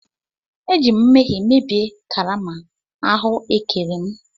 Eji m nmehie mebie karama ahụekere m.